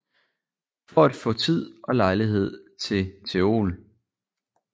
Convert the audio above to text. For at faa Tid og Lejlighed til teol